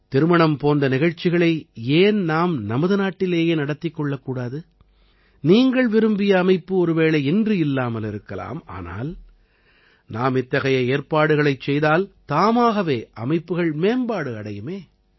திருமணம் போன்ற நிகழ்ச்சிகளை ஏன் நாம் நமது நாட்டிலேயே நடத்திக் கொள்ளக்கூடாது நீங்கள் விரும்பிய அமைப்பு ஒருவேளை இன்று இல்லாமல் இருக்கலாம் ஆனால் நாம் இத்தகைய ஏற்பாடுகளைச் செய்தால் தாமாகவே அமைப்புகள் மேம்பாடு அடையுமே